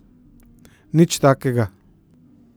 Nič takega.